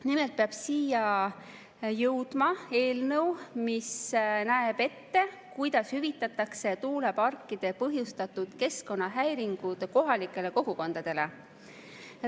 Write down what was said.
Nimelt peab siia jõudma eelnõu, mis näeb ette, kuidas kohalikele kogukondadele hüvitatakse tuuleparkide põhjustatud keskkonnahäiringud.